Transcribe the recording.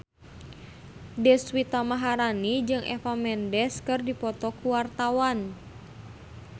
Deswita Maharani jeung Eva Mendes keur dipoto ku wartawan